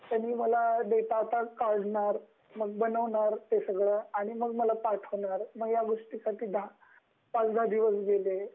म्हणजे डेटा आधी काढणार ,बनवणार आणि मग मला पाठवणार या गोष्टींसाठी पाच -दहा दिवस गेले